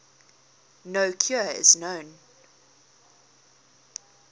no cure is known